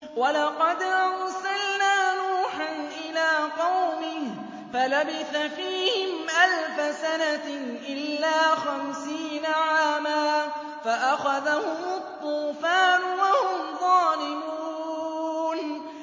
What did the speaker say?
وَلَقَدْ أَرْسَلْنَا نُوحًا إِلَىٰ قَوْمِهِ فَلَبِثَ فِيهِمْ أَلْفَ سَنَةٍ إِلَّا خَمْسِينَ عَامًا فَأَخَذَهُمُ الطُّوفَانُ وَهُمْ ظَالِمُونَ